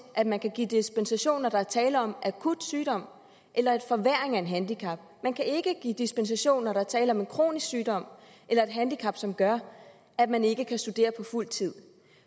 at man kan give dispensation når der er tale om akut sygdom eller forværring af et handicap man kan ikke give dispensation når der er tale om en kronisk sygdom eller et handicap som gør at man ikke kan studere på fuld tid